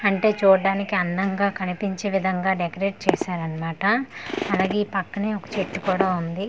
అంటే చూడ్డానికి అందంగా కనిపించే విధాంగా డెకరేట్ చేసారన్మాట అలాగే ఈ పక్కనే ఒక చెట్టు కూడా ఉంది.